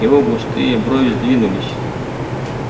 его густые брови сдвинулись